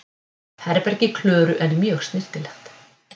Herbergi Klöru er mjög snyrtilegt.